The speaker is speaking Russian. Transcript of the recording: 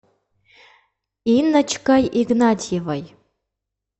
инночкой игнатьевой